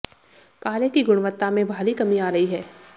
कार्य की गुणवत्ता में भारी कमी आ रही है